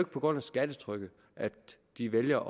på grund af skattetrykket at de vælger